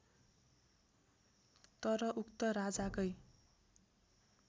तर उक्त राजाकै